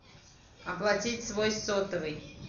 оплатить свой сотовый